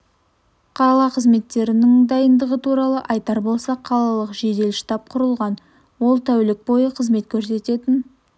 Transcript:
қала қызметтерінің дайындығы туралы айтар болсақ қалалық жедел штаб құрылған ол тәулік бойы қызмет көрсететін